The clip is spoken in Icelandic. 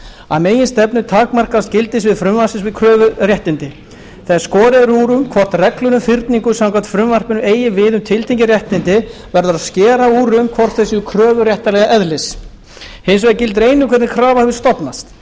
að meginstefnu takmarkast gildissvið frumvarpsins við kröfuréttindi þegar skorið er úr um hvort reglur um fyrningu samkvæmt frumvarpinu eigi við um tiltekin réttindi verður að skera úr um hvort þau séu kröfuréttareðlis hins vegar gildir einu hvernig krafa hefur stofnast